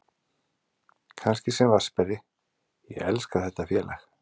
Kannski sem vatnsberi, ég elska þetta félag.